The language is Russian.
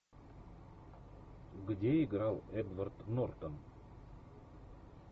где играл эдвард нортон